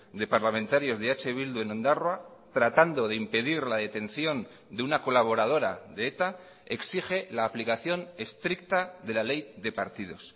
de parlamentarios de eh bildu en ondarroa tratando de impedir la detención de una colaboradora de eta exige la aplicación estricta de la ley de partidos